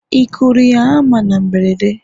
Ị kụrụ ya hama na mberede?